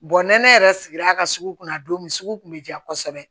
ni ne yɛrɛ sigira a ka sugu kɔnɔ don min sugu kun bɛ diya kosɛbɛ